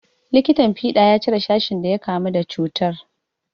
Likitan fiɗa ya cire sashin da ya kamu da cutar.